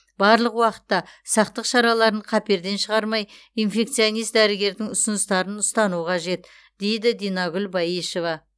барлық уақытта сақтық шараларын қаперден шығармай инфекционист дәрігердің ұсыныстарын ұстану қажет дейді динагүл баешева